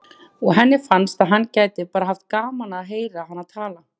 Og henni finnst að hann geti bara haft gaman af að heyra hana tala.